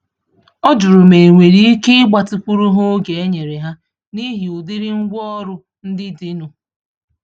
Ọ jụrụ ma enwere íke igbatịkwuru ha oge enyere ha, n'ihi ụdịrị ngwá ọrụ ndị dị nụ